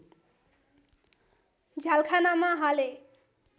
झ्यालखानामा हाले